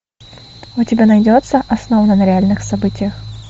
у тебя найдется основано на реальных событиях